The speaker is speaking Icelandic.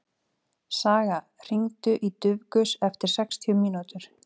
Saga, hringdu í Dufgus eftir sextíu mínútur.